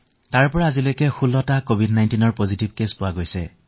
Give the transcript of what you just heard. তাত আজি পৰ্যন্ত ১৬টা কভিড১৯ পজিটিভ পৰিঘটনা পোৱা গৈছে